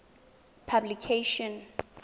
publication